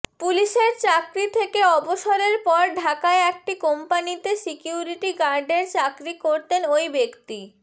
পুলিশের চাকরি থেকে অবসরের পর ঢাকায় একটি কোম্পানিতে সিকিউরিটি গার্ডের চাকরি করতেন ওই ব্যক্তি